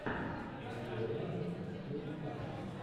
найди варианты с кейт хадсон